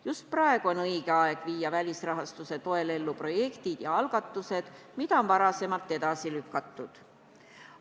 Just praegu on õige aeg viia välisrahastuse toel ellu projektid ja algatused, mida on varem edasi lükatud.